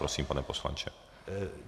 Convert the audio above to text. Prosím, pane poslanče.